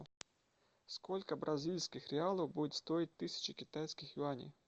сколько бразильских реалов будет стоить тысяча китайских юаней